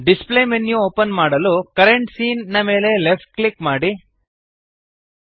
display menu open ಮಾಡಲು current scene ನ ಮೇಲೆ ಲೆಫ್ಟ್ ಕ್ಲಿಕ್ ಮಾಡಿರಿ